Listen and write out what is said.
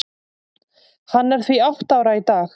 Hann er því átta ára í dag.